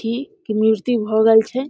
हाथी की मूर्ति भ गेल छै।